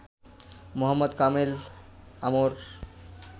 Mohammad Kamel Amr